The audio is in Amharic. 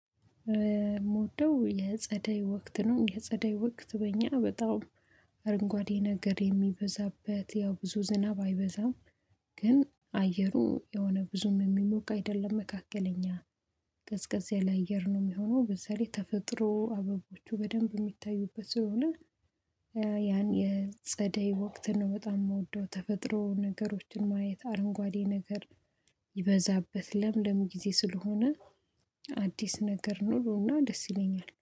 ሞወደው የጸደይ ወቅት ነው። የጸደይ ወቅት በእኛ በጣም አረንጓዴ ነገር የሚበዛበት ያው ብዙ ዝናብ አይበዛም። ግን አየሩ የሆነ ብዙም የሚሞቅ አይደለም መካከለኛ ቀዝቀዝ ያለ አየር ነው የሚሆነው በዛ ላይ ተፈጥሮ አበቦቹ በደንብ የሚታዩበት ስለሆነ ያን የጸደይ ወቅት ነው በጣም የምወደው ተፈጥሮ ነገሮችን ማየት አረንጓዴ ነገር ይበዛበት ለምለም ጊዜ ስለሆነ አዲስ ነገር ኖሮና ደስ ይለኛል።